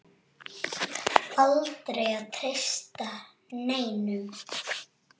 Aldrei að treysta neinum.